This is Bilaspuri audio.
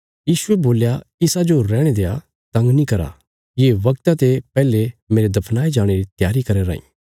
यीशुये बोल्या इसाजो रैहणे देआ तंग नीं करा ये वगता ते पैहले मेरे दफनाये जाणे री त्यारी करया राँई